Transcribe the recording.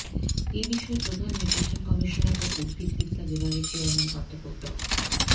এ বিষয়ে প্রধান নির্বাচন কমিশনার ও উদ্ভিদবিদ্যা বিভাগের চেয়ারম্যান অধ্যাপক ড